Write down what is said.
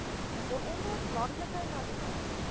waaronder landelike marine